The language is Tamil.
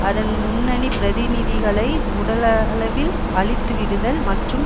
அதன் முன்னணி பிரதிநிதிகளை உடலளவில் அழித்துவிடுதல் மற்றும்